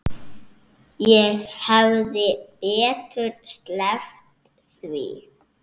Ég hefði betur sleppt því.